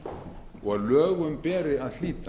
og að lögum beri að hlíta